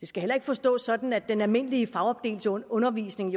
skal heller ikke forstås sådan at den almindelige fagopdelte undervisning